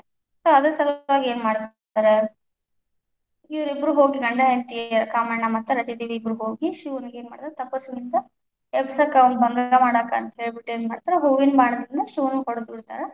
So ಅದರ ಸಲುವಾಗಿ ಏನು ಮಾಡ್ತಾರ ಇವರಿಬ್ರು ಹೋಗಿ ಗಂಡ ಹೆಂಡತಿ ಕಾಮಣ್ಣ ಮತ್ತು ರತಿದೇವಿ ಇಬ್ಬರು ಹೋಗಿ ಶಿವನಿಗೆ ಏನ್ ಮಾಡ್ತಾರೆ, ತಪಸ್ಸನಿಂದ ಎಬ್ಬಿಸಾಕ ಅವಂಗ್‌ ಭಂಗ ಮಾಡಾಕ ಅಂತ ಹೇಳ್ಬಿಟ್ಟು ಏನ್ ಮಾಡ್ತಾರ ಹೂವಿನ ಬಾಣದಿಂದ ಶಿವನ್ಗ ಹೊಡದ್ಬಿಡ್ತಾರಾ.